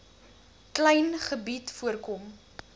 klein gebied voorkom